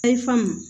Ayi faamu